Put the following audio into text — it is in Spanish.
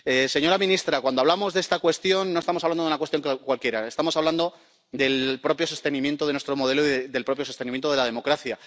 Señora ministra, cuando hablamos de esta cuestión, no estamos hablando de una cuestión cualquiera, estamos hablando del propio sostenimiento de nuestro modelo y del propio sostenimiento de la democracia.